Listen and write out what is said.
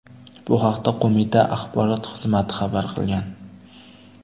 Bu haqda qo‘mita axborot xizmati xabar qilgan .